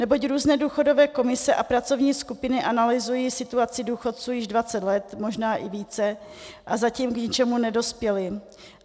Neboť různé důchodové komise a pracovní skupiny analyzují situaci důchodců již 20 let, možná i více, a zatím k ničemu nedospěly.